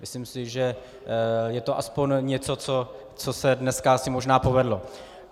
Myslím si, že je to aspoň něco, co se dnes asi možná povedlo.